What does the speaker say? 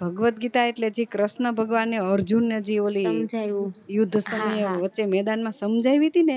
ભાગવત ગીતા એટલે જી ક્રષ્ણ ભગવાન ને અર્જુન ને જે ઓલી યુદ્ધ વછે મેદાન માં સજાવી હતી ને